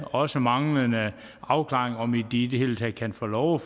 også manglende afklaring om de i det hele taget kan få lov